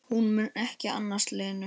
Hún mun ekki annast Lenu.